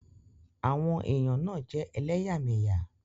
Àwọn èèyàn náà jẹ́ elẹ́yàmẹ́yà